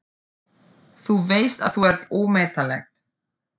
Þú veist að þú ert ómetanleg.